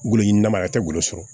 Wolo ɲinama yɛrɛ tɛ golo sɔrɔ